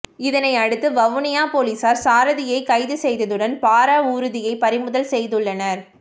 இதனையடுத்து வவுனியா பொலிஸார் சாரதியை கைது செய்ததுடன் பார ஊர்தியை பறிமுதல் செய்துள்ளனர்